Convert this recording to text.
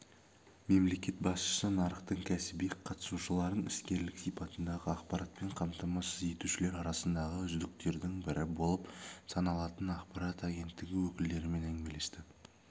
мемлекет басшысы нарықтың кәсіби қатысушыларын іскерлік сипатындағы ақпаратпен қамтамасыз етушілер арасындағы үздіктердің бірі болып саналатын ақпарат агенттігі өкілдерімен әңгімелесті